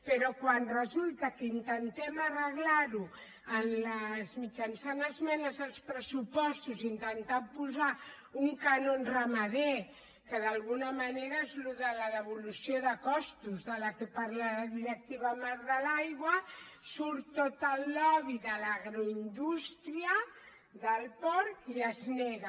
però quan resulta que intentem arreglar ho mitjançant esmenes als pressupostos intentant posar un cànon ramader que d’alguna manera és el de la devolució de costos de la qual parla la directiva marc de l’aigua surt tot el lobby de l’agroindústria del porc i es nega